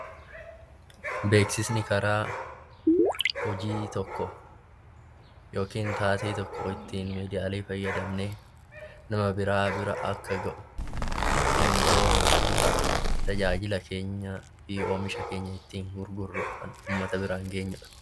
Beeksisni karaa hojii tokko yookiin taatee tokko ittiin miidiyaalee fayyadamnee nama biraa bira akka gahu ittiin goonuu fi tajaajila keenyaa fi oomisha keenya uummata biraan geenyudha.